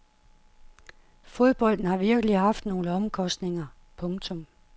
Fodbolden har virkelig haft nogle omkostninger. punktum